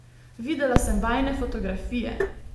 Videla sem vajine fotografije!